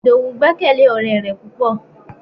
Idowu gbekele ore re pupo